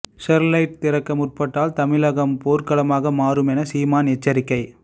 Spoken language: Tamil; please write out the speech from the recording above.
ஸ்டெர்லைட்டை திறக்க முற்பட்டால் தமிழகம் போர்க்களமாக மாறும் என சீமான் எச்சரிக்கை